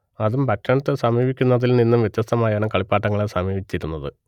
അതും ഭക്ഷണത്തെ സമീപിക്കുന്നതിൽ നിന്നും വ്യത്യസ്തമായാണ് കളിപ്പാട്ടങ്ങളെ സമീപിച്ചിരുന്നത്